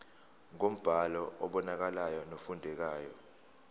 ngombhalo obonakalayo nofundekayo